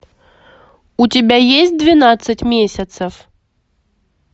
у тебя есть двенадцать месяцев